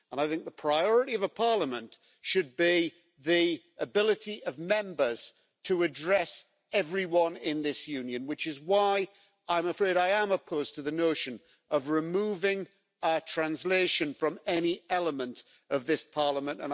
I think the priority of a Parliament should be the ability of Members to address everyone in this Union, which is why I'm afraid I am opposed to the notion of removing translation from any element of this Parliament.